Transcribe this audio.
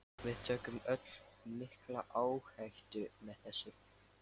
Við tökum öll mikla áhættu með þessu.